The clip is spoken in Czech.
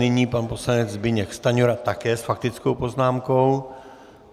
Nyní pan poslanec Zbyněk Stanjura také s faktickou poznámkou.